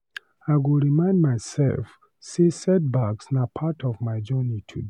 I go remind myself say setbacks na part of my journey today.